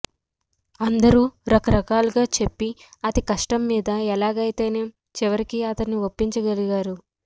అందరూ రకరకాలుగా చెప్పి అతికష్టం మీద ఎలాగైతేనేం చివరికి అతన్ని ఒప్పించ గలిగారు